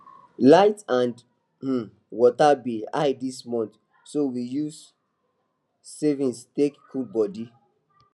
light and um water bill high this month so we use savings take cool body